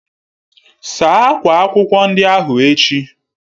Saa akwa akwụkwọ ndị ahụ echi!